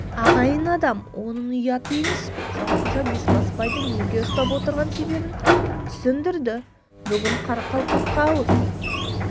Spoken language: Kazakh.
ағайын адам оның ұят емес пе жанқожа бесбасбайды неге ұстап отырған себебін түсіндірді бүгін қарақалпаққа ауыз